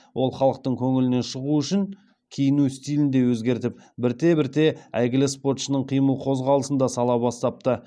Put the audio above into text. ол халықтың көңілінен шығу үшін киіну стилінде өзгертіп бірте бірте әйгілі спортшының қимыл қозғалысын да сала бастапты